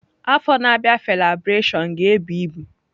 Afọ na-abịa Felabration ga-ebụ ibu.